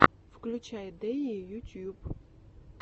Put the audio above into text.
включай дэйи ютюб